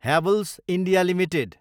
Havells India Ltd